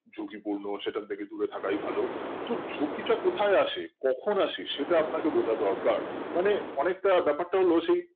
ঝুঁকি পুন্য সেখান থেকে দূরে থাকায় ভালো কিন্তু ঝুঁকি টা কোথায় আছে কখন আসে সেটা আপনাকে বোঝাটা দরকার মানে অনেকটা ব্যাপারটা হলো সেই